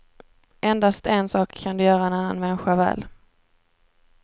Endast en sak kan du göra en annan människa väl.